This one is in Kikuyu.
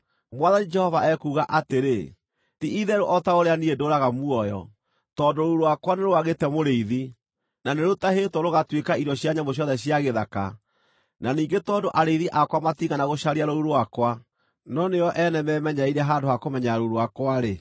Mwathani Jehova ekuuga atĩrĩ: Ti-itherũ o ta ũrĩa niĩ ndũũraga muoyo, tondũ rũũru rwakwa nĩ rwagĩte mũrĩithi, na nĩrũtahĩtwo rũgatuĩka irio cia nyamũ ciothe cia gĩthaka, na ningĩ tondũ arĩithi akwa matiigana gũcaria rũũru rwakwa, no nĩo ene meemenyereire handũ ha kũmenyerera rũũru rwakwa-rĩ,